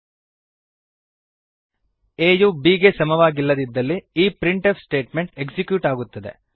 a ಯು b ಗೆ ಸಮವಾಗಿಲ್ಲದಿದ್ದಲ್ಲಿ ಈ ಪ್ರಿಂಟ್ ಎಫ್ ಸ್ಟೇಟ್ಮೆಂಟ್ ಎಕ್ಸಿಕ್ಯೂಟ್ ಆಗುತ್ತದೆ